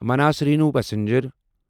minus rhino passenger